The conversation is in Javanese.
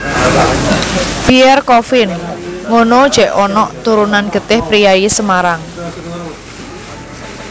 Pierre Coffin ngunu jek onok turunan getih priyayi Semarang